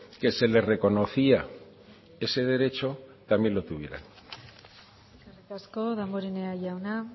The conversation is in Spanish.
que se les reconocía ese derecho también lo tuvieran eskerrik asko damborenea jauna